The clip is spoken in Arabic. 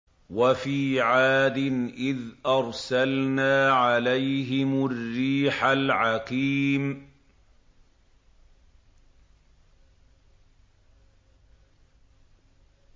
وَفِي عَادٍ إِذْ أَرْسَلْنَا عَلَيْهِمُ الرِّيحَ الْعَقِيمَ